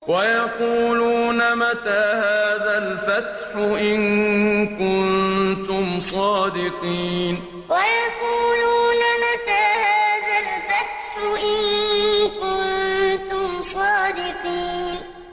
وَيَقُولُونَ مَتَىٰ هَٰذَا الْفَتْحُ إِن كُنتُمْ صَادِقِينَ وَيَقُولُونَ مَتَىٰ هَٰذَا الْفَتْحُ إِن كُنتُمْ صَادِقِينَ